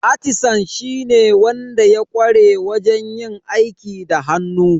Atisan shine wanda ya ƙware wajen yin aiki da hannu.